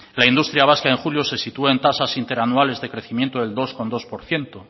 la industria vasca en julio se sitúa en tasas interanuales de crecimiento de dos coma dos por ciento